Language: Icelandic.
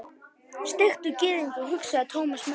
Steiktur gyðingur, hugsaði Thomas með sér.